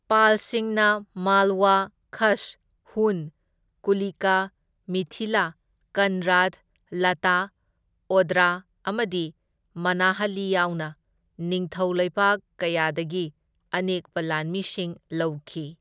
ꯄꯥꯜꯁꯤꯡꯅ ꯃꯥꯜꯋꯥ, ꯈꯁ, ꯍꯨꯟ, ꯀꯨꯂꯤꯀꯥ, ꯃꯤꯊꯤꯂꯥ, ꯀꯟꯔꯥꯠ, ꯂꯇꯥ, ꯑꯣꯗ꯭ꯔꯥ ꯑꯃꯗꯤ ꯃꯅꯥꯍꯂꯤ ꯌꯥꯎꯅ ꯅꯤꯡꯊꯧ ꯂꯩꯕꯥꯛ ꯀꯌꯥꯗꯒꯤ ꯑꯅꯦꯛꯄ ꯂꯥꯟꯃꯤꯁꯤꯡ ꯂꯧꯈꯤ꯫